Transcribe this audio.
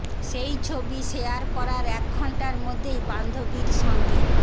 সেই ছবি শেয়ার করার এক ঘণ্টার মধ্যেই বান্ধবীর সঙ্গে